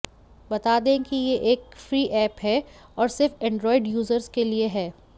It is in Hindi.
बता दें कि ये एक फ्री ऐप है और सिर्फ एंड्रॉइड यूजर्स के लिए है